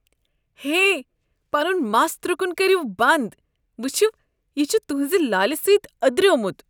ہے! پنُن مس ترُکُن كٔریو بنٛد۔ وٕچِھو، یہِ چھُ تُہنٛزِ لالہٕ سٕتۍ ادریٛومت۔